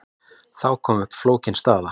Þá kom upp flókin staða.